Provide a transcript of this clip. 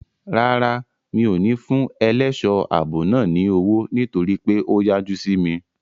Rárá, mi ò ní fún ẹlẹ́ṣọ̀ ààbò náà ní owó nítorí pé ó yájú sí mi.